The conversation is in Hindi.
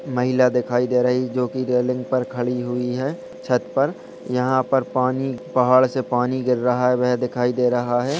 महिला दिखाई दे रही जो की रेलिंग पर खड़ी हुई है छत पर| यहाँ पर पानी पहाड़ से पानी गिर रहा है वह दिखाई दे रहा है।